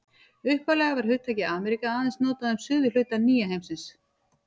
Upphaflega var hugtakið Ameríka aðeins notað um suðurhluta nýja heimsins.